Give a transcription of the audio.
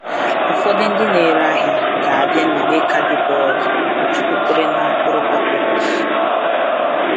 Ụfọdụ ndị na-ere ahịa ga-abịa na igbe kaadibọọdụ jupụtara na mkpụrụ papịrụs.